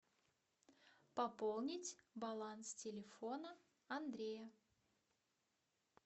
пополнить баланс телефона андрея